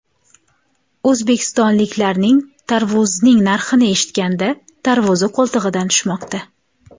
O‘zbekistonliklarning tarvuzning narxini eshitganda tarvuzi qo‘ltig‘idan tushmoqda.